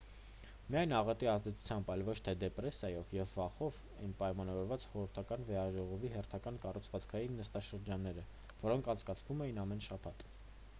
միայն աղետի ազդեցությամբ այլ ոչ թե դեպրեսիայով և վախով էին պայմանավորված խորհրդարանական վեհաժողովի հերթական կառուցվածքային նստաշրջանները որոնք անցկացվում են ամեն շաբաթ